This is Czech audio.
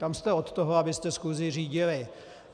Tam jste od toho, abyste schůzi řídili.